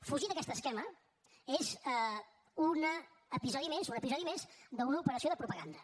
fugir d’aquest esquema és un episodi més un episodi més d’una operació de propaganda